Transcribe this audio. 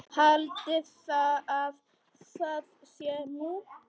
Haldiði að það sé nú!